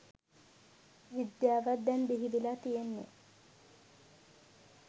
විද්‍යාවක් දැන් බිහිවෙලා තියෙන්නේ